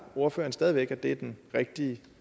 ordføreren stadig væk at det er den rigtige